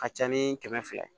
Ka ca ni kɛmɛ fila ye